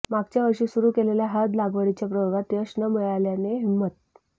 मागच्या वर्षी सुरू केलेल्या हळद लागवडीच्या प्रयोगात यश न मिळाल्याने हिम्मत